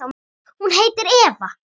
Hún heitir Eva.